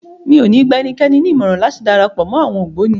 Mi ò ní gba ẹnikẹ́ni ní ìmọ̀ràn láti darapọ̀ mọ́ àwọn ogboni.